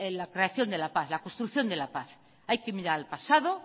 la creación de la paz la construcción de la paz hay que mirar al pasado